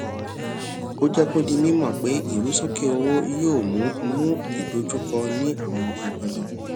ó jé kó di mímò pé ìrusókè owó yóò mú mú ìdojúkọ ní àwọn agbọndan